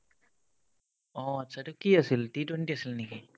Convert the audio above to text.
অ, achcha এইটো কি আছিল ? T twenty আছিল নেকি ?